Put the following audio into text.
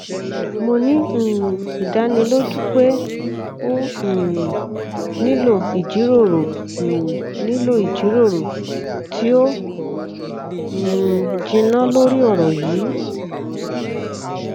mo ni um idaniloju pe o um nilo ijiroro um nilo ijiroro ti o um jinna lori ọrọ yii